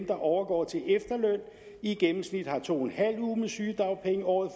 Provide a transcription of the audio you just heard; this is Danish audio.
der overgår til efterløn i gennemsnit har to en halv uge med sygedagpenge året